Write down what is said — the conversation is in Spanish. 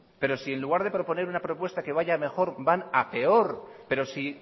pero si en lugar de proponer una propuesta que vaya a mejor van a peor pero si